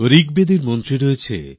ঋকবেদে মন্ত্র আছে